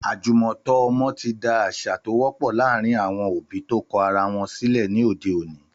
Àjùmọ̀tọ́ ọmọ ti di àṣà tó wọ́pọ̀ láàárín àwọn òbí tó kọ ara wọn sílẹ̀ ní òde òní.